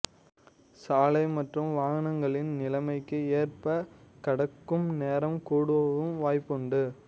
சாலை மற்றும் வாகனங்களின் நிலைமைக்கு ஏற்ப கடக்கும் நேரம் கூடவும் வாய்ப்புண்டு